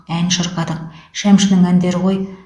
ән шырқадық шәмшінің әндері ғой